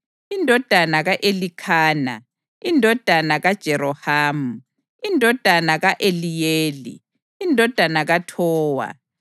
indodana ka-Elikhana, indodana kaJerohamu, indodana ka-Eliyeli, indodana kaThowa,